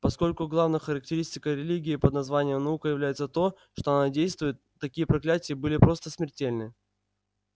поскольку главной характеристикой религии под названием наука является то что она действует такие проклятия были просто смертельны